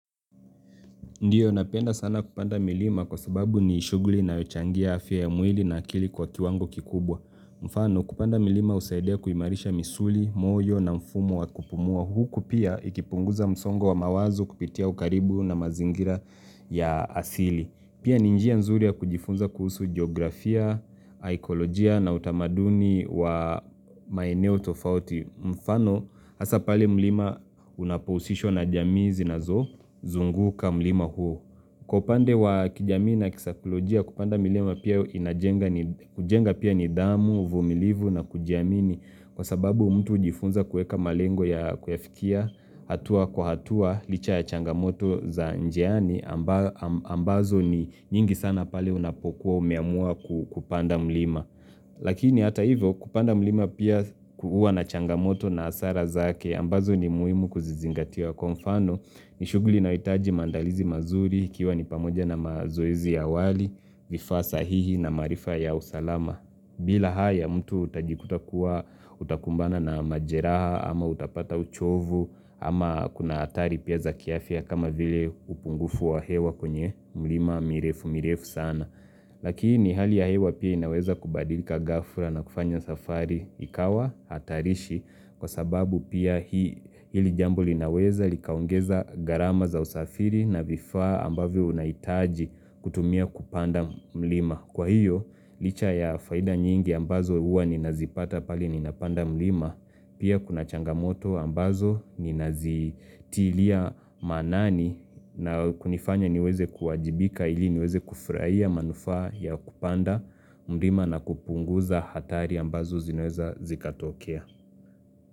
Ndio, napenda sana kupanda milima kwa sababu ni shughuli inayochangia afya ya mwili na akili kwa kiwango kikubwa. Mfano, kupanda milima husaidia kuimarisha misuli, moyo na mfumo wa kupumua. Huku pia ikipunguza msongo wa mawazo kupitia ukaribu na mazingira ya asili. Pia ni njia nzuri ya kujifunza kuhusu geografia, saikolojia na utamaduni wa maeneo tofauti. Mfano, hasa pale mlima unapohusishwa na jamii zinazozunguka mlima huo. Kwa upande wa kijamii na kisaikolojia, kupanda milima pia inajenga pia nidhamu, uvumilivu na kujiamini. Kwa sababu mtu hujifunza kuweka malengo ya kuyafikia, hatua kwa hatua, licha ya changamoto za njiani, ambazo ni nyingi sana pale unapokuwa umeamua kupanda mlima. Lakini hata hivyo kupanda mlima pia huwa na changamoto na hasara zake ambazo ni muhimu kuzizingatia. Kwa mfano ni shughuli inayohitaji maandalizi mazuri ikiwa ni pamoja na mazoezi ya awali vifaa sahihi na maarifa ya usalama bila haya mtu utajikuta kuwa utakumbana na majeraha ama utapata uchovu ama kuna hatari pia za kiafya kama vile upungufu wa hewa kwenye mlima mirefu mirefu sana Lakini hali ya hewa pia inaweza kubadilika ghafla na kufanya safari ikawa hatarishi kwa sababu pia hili jambo linaweza likaongeza gharama za usafiri na vifaa ambavyo unahitaji kutumia kupanda mlima. Kwa hiyo, licha ya faida nyingi ambazo huwa ninazipata pale ninapanda mlima, pia kuna changamoto ambazo ninazitilia maanani na kunifanya niweze kuwajibika ili niweze kufurahia manufaa ya kupanda mlima na kupunguza hatari ambazo zinaweza zikatokea.